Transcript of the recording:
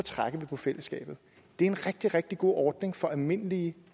på fællesskabet det er en rigtig rigtig god ordning for almindelige